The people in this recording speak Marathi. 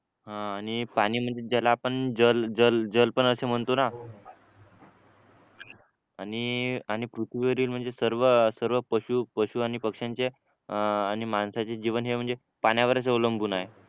अं आणि पाणी म्हणजे ज्याला आपण जल जल जल पण असे म्हणतो ना आणि पृथ्वीवरील म्हणजे सर्व पशु पशु आणि पक्षांच्या अं आणि माणसाचे जीवन हे म्हणजे पाण्यावरच अवलंबून आहे